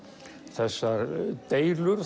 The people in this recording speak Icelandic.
þessar deilur